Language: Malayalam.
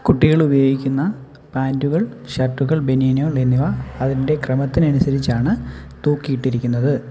കുട്ടികൾ ഉപയോഗിക്കുന്ന പാന്റുകൾ ഷർട്ടുകൾ ബനിയനുകൾ എന്നിവ അതിന്റെ ക്രമത്തിനനുസരിച്ചാണ് തൂക്കിയിട്ടിരിക്കുന്നത്.